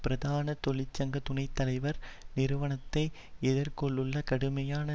பிரதான தொழிற்சங்க துணை தலைவர் நிறுவனத்தை எதிர்நோக்கியுள்ள கடுமையான